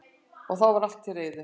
Þá var allt til reiðu